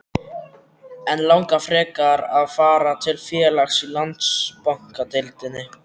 En langar hann frekar að fara til félags í Landsbankadeildinni?